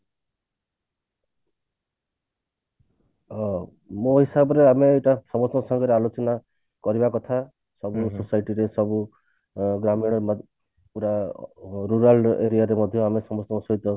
ଅ ମୋ ହିସାବରେ ଆମେ ଏଇଟା ସମସ୍ତଙ୍କ ସାଙ୍ଗରେ ଆଲୋଚନା କରିବା କଥା ସବୁ society ରେ ସବୁ ଗ୍ରାମୀଣ ହେଲା ପୁରା rural aria ରେ ମଧ୍ୟ ଆମେ ସମସ୍ତଙ୍କ ସହିତ